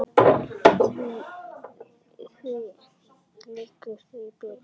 Því lengur því betra.